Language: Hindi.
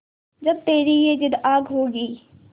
जब तेरी ये जिद्द आग होगी